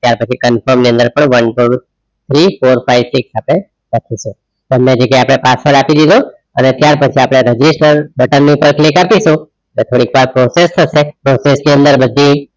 ત્યાર પછી confirm પર three four five six સાથે તમે જે કે password આપી દીધો અને ત્યાર પછી આપણે register button ની ઉપર click આપી તો એટલે થોડીક વાર process થશે process ની અંદર બધી